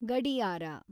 ಗಡಿಯಾರ